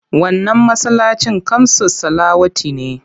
Wannan masallacin kamsus salawati ne.